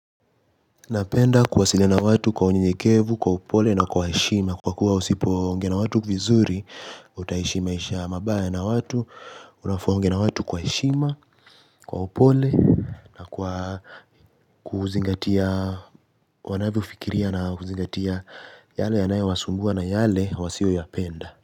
Napenda kuwasiliana watu kwa unyenyekevu, kwa upole na kwa heshima. Kwa kuwa usipongea na watu vizuri, utaishi maisha mabaya na watu. Unafaa ongee na watu kwa heshima, kwa upole na kwa kuzingatia, wanavyo fikiria na kuzingatia yale yanayo wasumbua na yale wasio yapenda.